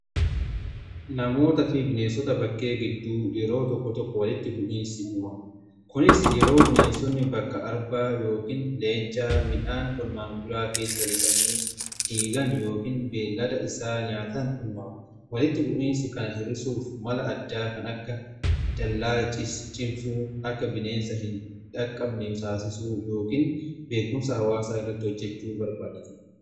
Namootaa fi bineensota bakkee gidduu yeroo tokko tokko walitti bu'iinsi uumama. Kunis yeroo bineensonni bakka arbaa yookiin leencaa midhaan qonnaan bulaa keessa lixanii diigan yookiin beellada isaa nyaatan uumama. Walitti bu'iinsi kana hirisuuf mala addaa kan akka dallaa cimsuu akka bineensa hin dhaqqabne taasisuu yookiin beekumsa hawaasaa irratti hojjechuu barbaachisa.